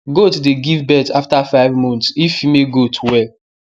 goat dey give birth after five months if female goat well